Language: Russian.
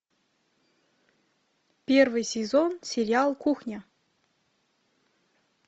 первый сезон сериал кухня